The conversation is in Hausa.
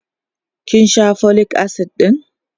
kin Sha folic acid ɗin?